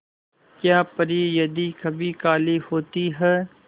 क्या परी यदि कभी काली होती है